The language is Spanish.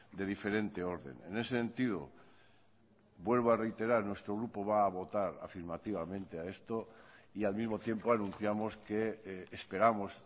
de diferente orden en ese sentido vuelvo a reiterar nuestro grupo va a votar afirmativamente a esto y al mismo tiempo anunciamos que esperamos